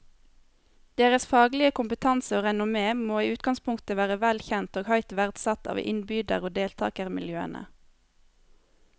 Deres faglige kompetanse og renommé må i utgangspunktet være vel kjent og høyt verdsatt av innbyder og deltagermiljøene.